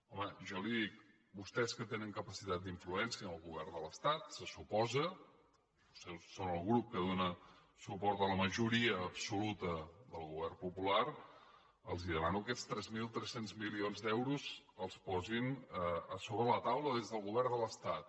home jo li dic vostès que tenen capacitat d’influència en el govern de l’estat se suposa són el grup que dóna suport a la majoria absoluta del govern popular els demano que aquests tres mil tres cents milions d’euros els posin sobre la taula des del govern de l’estat